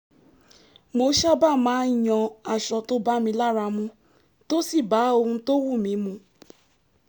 mo sábà máa ń yan aṣọ tó bá mi lára mu tó sì bá ohun tó wù mí mu